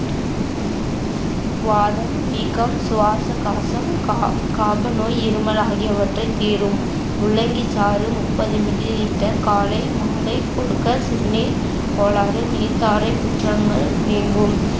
வாதம், வீக்கம், சுவாச கா~ காப நோய், இருமல் ஆகியவற்றை தீரும். முள்ளங்கி சாறு முப்பது millilitre காலை மாலை கொடுக்க சிறுநீர்க் கோளாறு, நீர்தாரைக்குற்றங்கள் நீங்கும்